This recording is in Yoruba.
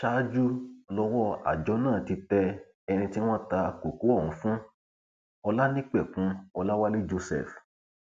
ṣáájú lowó àjọ náà ti tẹ ẹni tí wọn ta kókó ọhún fún olanipẹkun ọlàwálẹ joseph